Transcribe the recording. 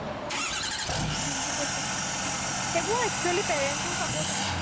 দিম্পুকে চোৱা সেইবোৰ actually parents ৰ support জানানে নাই